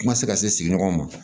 Kuma tɛ se ka se sigiɲɔgɔnw ma